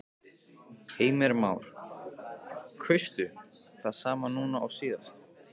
Heimir Már: Kaustu það sama núna og síðast?